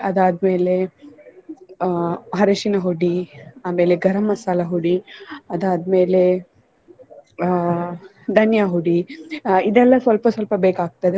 ಅದಾದ್ಮೇಲೆ ಅಹ್ ಅರಿಶಿನ ಹುಡಿ ಆಮೇಲೆ ಗರಂ ಮಸಾಲಾ ಹುಡಿ ಅದಾದ್ಮೇಲೆ ಅಹ್ धनिया ಹುಡಿ ಅಹ್ ಇದೆಲ್ಲ ಸ್ವಲ್ಪ ಸ್ವಲ್ಪ ಬೇಕಾಗ್ತದೆ.